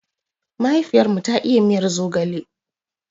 Mahaifiyar mu ta iya miyan zogale.